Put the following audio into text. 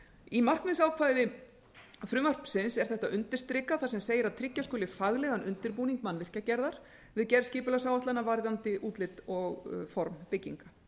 í markmiðsákvæði frumvarpsins er þetta undirstrikað þar sem segir að tryggja skuli faglegan undirbúning mannvirkjagerðar við gerð skipulagsáætlana varðandi útlit og form bygginga